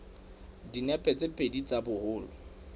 dinepe tse pedi tsa boholo